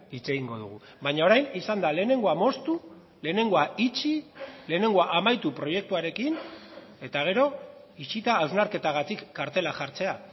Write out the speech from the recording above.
hitz egingo dugu baina orain izan da lehenengoa moztu lehenengoa itxi lehenengoa amaitu proiektuarekin eta gero itxita hausnarketagatik kartela jartzea